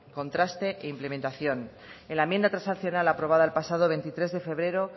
contraste e implementación en la enmienda transaccional aprobada el pasado veintitrés de febrero